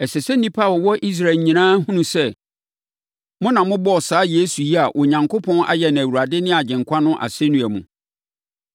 “Ɛsɛ sɛ nnipa a wɔwɔ Israel nyinaa hunu sɛ, mo na mobɔɔ saa Yesu yi a Onyankopɔn ayɛ no Awurade ne Agyenkwa no asɛnnua mu.”